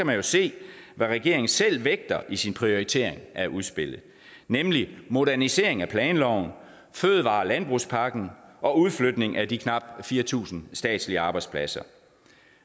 man jo se hvad regeringen selv vægter i sin prioritering af udspillet nemlig modernisering af planloven fødevare og landbrugspakken og udflytning af de knap fire tusind statslige arbejdspladser